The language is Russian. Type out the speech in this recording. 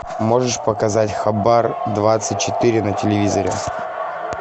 можешь показать хабар двадцать четыре на телевизоре